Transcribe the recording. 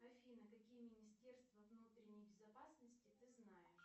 афина какие министерства внутренней безопасности ты знаешь